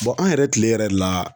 an yɛrɛ kile yɛrɛ la